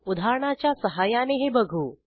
उदाहरणाच्या सहाय्याने हे बघू